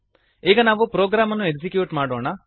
ಈಗ ನಾವು ಪ್ರೊಗ್ರಾಮನ್ನು ಎಕ್ಸಿಕ್ಯೂಟ್ ಮಾಡೋಣ